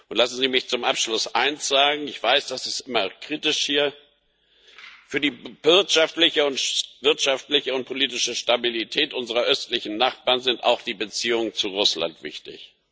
Lassen Sie mich zum Abschluss eins sagen, ich weiß das ist immer kritisch hier Für die wirtschaftliche und politische Stabilität unserer östlichen Nachbarn sind auch die Beziehungen zu Russland wichtig.